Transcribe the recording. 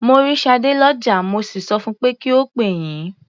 Mo rí Ṣadé lọ́jà, mo sì sọ fun pé kí ó pè yín.